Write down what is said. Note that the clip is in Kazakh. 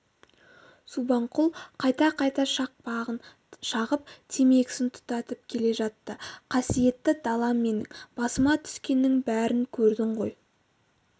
субанқұл қайта-қайта шақпағын шағып темекісін тұтатып келе жатты қасиетті далам менің басыма түскеннің бәрін көрдің ғой